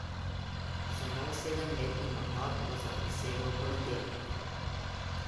Za nov sedemletni mandat bo zaprisegel v ponedeljek.